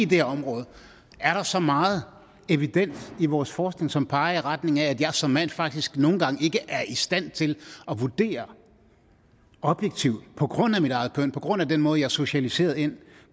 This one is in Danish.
det område er der så meget evidens i vores forskning som peger i retning af at jeg som mand faktisk nogle gange ikke er i stand til at vurdere objektivt på grund af mit eget køn på grund af den måde jeg er socialiseret ind